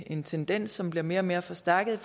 en tendens som bliver mere og mere forstærket